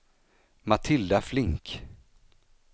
Matilda Flink